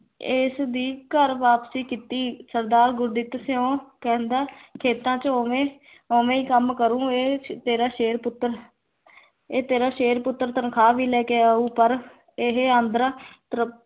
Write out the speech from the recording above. ਇਸ ਦੀ ਘਰ ਵਾਪਸੀ ਕੀਤੀ ਸਰਦਾਰ ਗੁਰਦਿੱਤ ਸਿਉਂ ਕਹਿੰਦਾ ਖੇਤਾਂ ਚ ਉਵੇਂ ਉਵੇਂ ਈ ਕੰਮ ਕਰੂ ਇਹ ਤੇਰਾ ਸ਼ੇਰ ਪੁੱਤਰ ਇਹ ਤੇਰਾ ਸ਼ੇਰ ਪੁੱਤਰ ਤਨਖ਼ਾਹ ਵੀ ਲੈਕੇ ਆਉ ਪਰ ਇਹ ਆਂਦਰਾਂ ਤਰ